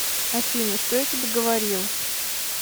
афина что я тебе говорил